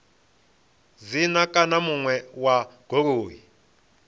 dzina kana muṋe wa goloi